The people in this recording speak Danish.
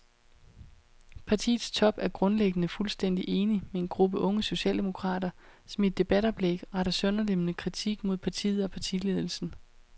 Partiets top er grundlæggende fuldstændig enig med en gruppe unge socialdemokrater, som i et debatoplæg retter sønderlemmende kritik mod partiet og partiledelsen.